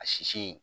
A sisi